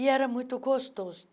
E era muito gostoso.